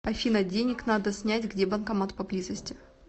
афина денег надо снять где банкомат поблизости